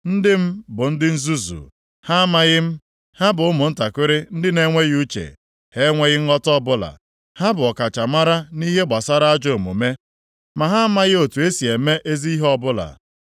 “Ndị m bụ ndị nzuzu, ha amaghị m. Ha bụ ụmụntakịrị ndị na-enweghị uche, ha enweghị nghọta ọbụla. Ha bụ ọkachamara nʼihe gbasara ajọ omume, ma ha amaghị otu esi eme ezi ihe ọbụla.”